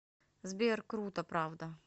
сбер круто правда